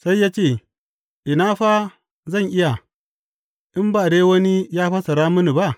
Sai ya ce, Ina fa zan iya, in ba dai wani ya fassara mini ba?